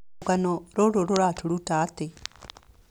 Rũgano rũrũ rũratũruta atĩ: